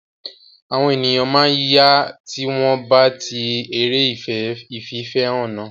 Ara àwọn ènìyàn máa yá tí wọ́n bá tí eré ìfìfẹ́hàn náà.